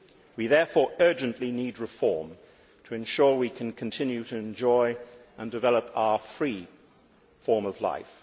We therefore urgently need reform to ensure we can continue to enjoy and develop our free' form of life.